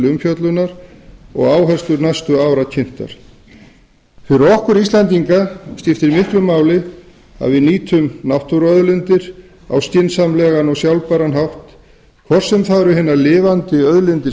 umfjöllunar og áherslur næstu ára kynntar fyrir okkur íslendinga skiptir miklu máli að við nýtum náttúruauðlindir okkar á skynsamlegan og sjálfbæran hátt hvort sem það eru hinar lifandi auðlindir